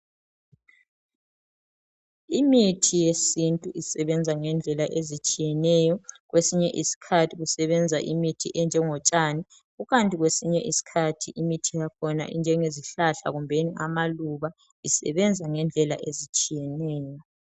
Imithi yesintu isebenza ngendlela ezitshiyeneyo. Kwesinye isikhathi kusebenza imithi enjengotshani, kwesinye isikhathi imithi yakhona injengezihlahla kumbeni amaluba. Isebenza ngendlela ezitshiyeneyo.